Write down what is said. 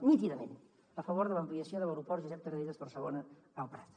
nítidament a favor de l’ampliació de l’aeroport josep tarradellas barcelona el prat